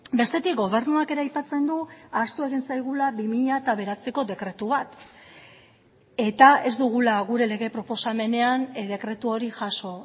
bestetik gobernuak ere aipatzen du ahaztu egin zaigula bi mila bederatziko dekretu bat eta ez dugula gure lege proposamenean dekretu hori jaso